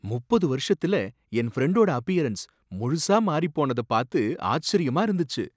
முப்பது வருஷத்துல என் ஃப்ரெண்டோட அப்பியரன்ஸ் முழுசா மாறிப் போனதா பாத்து ஆச்சரியமா இருந்துச்சு.